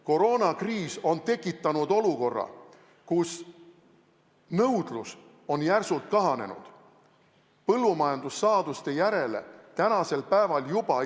Koroonakriis on tekitanud olukorra, kus nõudlus põllumajandussaaduste järele on juba praegu märkimisväärselt kahanenud.